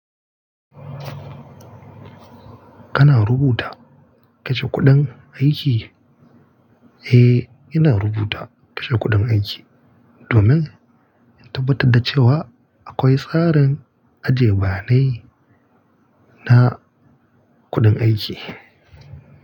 Kana rubuta kashe kuɗin aiki? Eh, ina rubuta kashe kuɗin aiki, domin in tabbatar da cewa akwai tsarin ajiye bayane na kuɗin aiki.